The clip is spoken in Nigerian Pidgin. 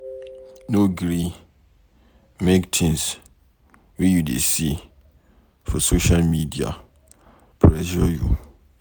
No gree make things wey you dey see for social media pressure you.